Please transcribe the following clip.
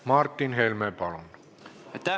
Martin Helme, palun!